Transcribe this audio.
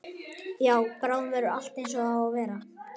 Já, bráðum verður allt einsog það á að vera.